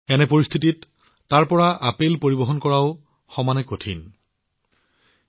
এনে পৰিস্থিতিত তাৰ পৰা আপেল পৰিবহণ কৰাটোও সমানে কঠিন হৈ পৰে